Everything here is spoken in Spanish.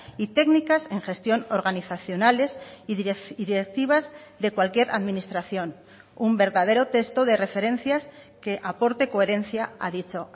y técnicas en gestión organizacionales y directivas de cualquier administración un verdadero texto de referencias que aporte coherencia a dicho